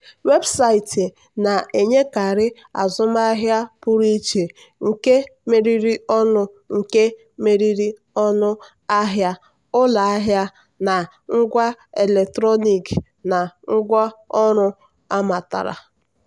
weebụsaịtị na-enyekarị azụmahịa pụrụ iche nke meriri ọnụ nke meriri ọnụ ahịa ụlọahịa na ngwa eletrọnịkị na ngwaọrụ amatara.